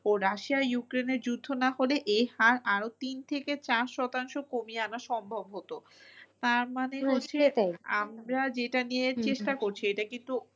ও Russia ইউক্রেনের যুদ্ধ না হলে এ হার আরো তিন থেকে চার শতাংশ কমিয়ে আনা সম্ভব হতো তার মানে আমরা যেটা নিয়ে চেষ্টা করছি এটা কিন্তু